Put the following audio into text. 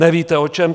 Nevíte o čem?